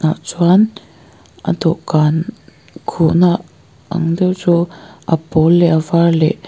chuan a dawhkan khuh na ang deuh chu a pawl leh a var leh--